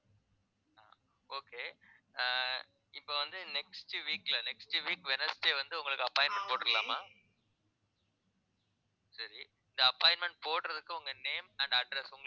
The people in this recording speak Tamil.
okay ஆஹ் இப்ப வந்து next week ல next week wednesday வந்து உங்களுக்கு appointment போட்டுரலாமா சரி இந்த appointment போடுறதுக்கு உங்க name and address